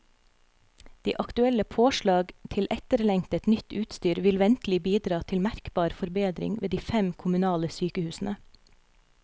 De aktuelle påslag til etterlengtet, nytt utstyr vil ventelig bidra til merkbar forbedring ved de fem kommunale sykehusene.